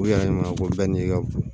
U yɛrɛ ɲɔgɔn ko bɛɛ n'i ka bon